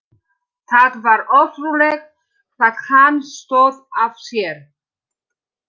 Það var ótrúlegt hvað hann stóð af sér.